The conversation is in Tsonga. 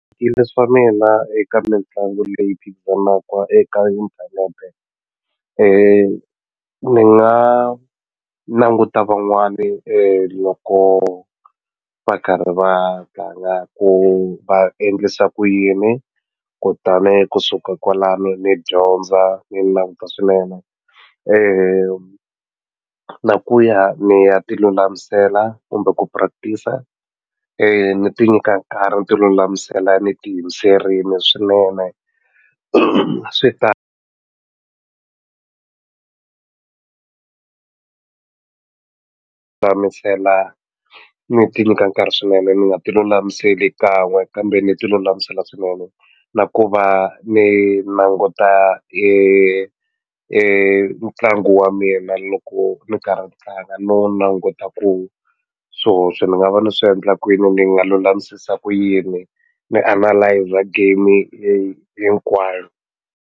swa mina eka mitlangu leyi phikizanaka eka inthanete ni nga languta van'wani loko va karhi va tlanga ku va endlisa ku yini kutani kusuka kwalani ni dyondza ni languta swinene na ku ya ni ya ti lulamisela kumbe ku practic-a ni ti nyika nkarhi ni ti lulamisela ni ti yimiserile swinene swi ta ni ti nyika nkarhi swinene ni nga ti lulamiseli kan'we kambe ni ti lulamisela swinene na ku va ni languta ntlangu wa mina loko ni karhi ni tlanga no languta ku swihoxo ni nga va ni swi endla kwini ni nga lulamisisa ku yini ni analyser game hinkwayo.